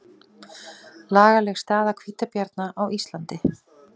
Lagaleg staða hvítabjarna á Íslandi